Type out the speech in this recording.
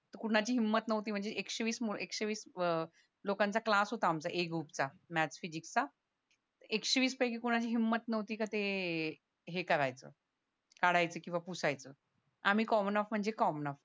तर कुणाची हिंमत नव्हती म्हणजे एकशेवीस एकशेवीस अह लोकांचा क्लास होता आमचा ए ग्रुपचा मॅथ्स फिजिक्स चा एकशेवीस पैकी कुणाची हिंमत नव्हती का ते हे करायचं काढायचं किंवा पुसायच आम्ही कॉमन ऑफ म्हणजे कॉमन ऑफ